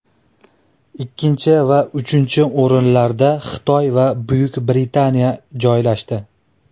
Ikkinchi va uchinchi o‘rinlarda Xitoy va Buyuk Britaniya joylashdi.